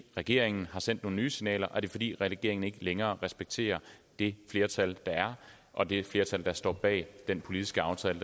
regeringen har sendt nogle nye signaler er det fordi regeringen ikke længere respekterer det flertal der er og det flertal der står bag den politiske aftale